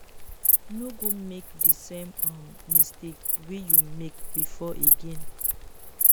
no go make di same um mistake wey you make before again